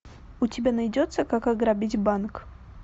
у тебя найдется как ограбить банк